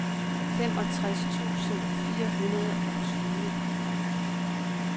femogtres tusind fire hundrede og tyve